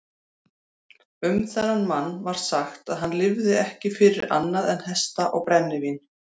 Um þennan mann var sagt að hann lifði ekki fyrir annað en hesta og brennivín.